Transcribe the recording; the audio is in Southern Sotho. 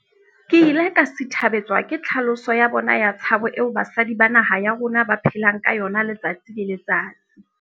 Ke ile ka sithabetswa ke tlhaloso ya bona ya tshabo eo basadi ba naha ya rona ba phelang ka yona letsatsi le letsatsi.